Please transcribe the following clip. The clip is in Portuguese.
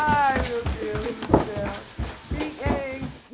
Ai, meu Deus do céu! E eh en